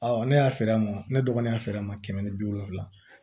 ne y'a feere a ma ne dɔgɔnin y'a feere a ma kɛmɛ ni bi wolonfila